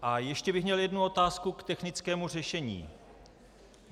A ještě bych měl jednu otázku k technickému řešení.